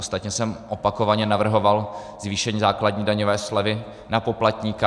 Ostatně jsem opakovaně navrhoval zvýšení základní daňové slevy na poplatníka.